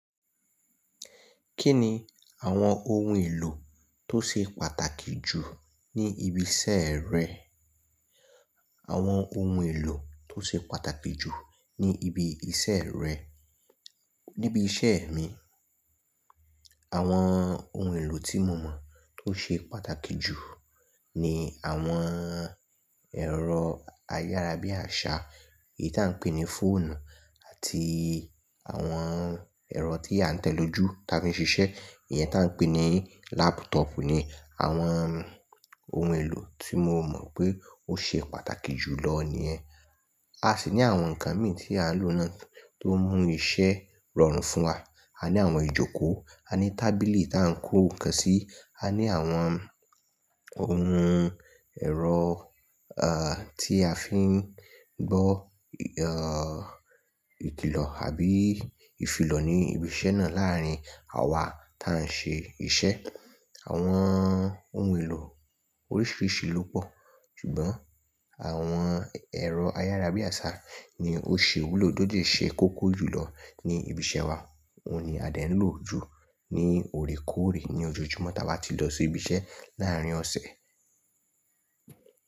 Kí ni àwọn ohun èlò tó ṣe pàtàkì jù ní ibi iṣẹ́ rẹ? Àwọn ohun èlò tó ṣe pàtàkì jù ní ibi iṣẹ́ rẹ. Níbi iṣẹ́ mi, àwọn ohun èlò tí mo mọ̀ tó ṣe pàtàkì jù ni àwọn ẹ̀rọ ayárabíàṣá, èyí tí à ń pè ní fóònù àti àwọn ẹ̀rọ tí a ń tẹ̀ lójú tí a fi ń ṣiṣẹ́, ìyẹn tí à ń pè ní lápútọọ̀pù ni àwọn. Ohun èlò tí mo mọ̀ pé ó ṣe pàtàkì jù lọ ní yen. A sì ní àwọn nǹkan mìí tí à ń lò náà tó mú iṣẹ́ rọrùn fún wa. A ní àwọn ìjókòó, a ní tábìlì tí à ń kó ǹkan sí, a ní àwọn ohun ẹ̀rọ, à, tí a fi ń gbọ́– ìkìlọ̀ àbí ìfilọ̀ ní ibi iṣẹ́ náà láàárín àwa tí à ń ṣe iṣẹ́. Àwọn ohun èlò oríṣiríṣi ló pọ̀. Ṣùgbọ́n àwọn ẹ̀rọ ayárabíàṣá ni ó ṣe ìwúlò tó dẹ́ ṣe kókó jù lọ ní ibi iṣẹ́ wa. Óun ni a ti ń lò ju ní òrekóòrè ní ojoojúmọ́ tí a bá ti lọ sí ibi iṣẹ́ láàárín ọ̀sẹ̀